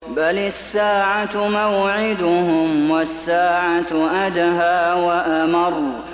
بَلِ السَّاعَةُ مَوْعِدُهُمْ وَالسَّاعَةُ أَدْهَىٰ وَأَمَرُّ